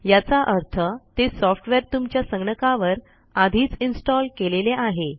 याचा अर्थ ते सॉफ्टवेअर तुमच्या संगणकावर आधीच इन्स्टॉल केलेले आहे